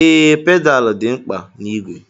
Ee, pedaal dị mkpa na-igwe.